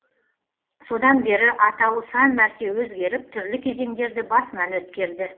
содан бері атауы сан мәрте өзгеріп түрлі кезеңдерді басынан өткерді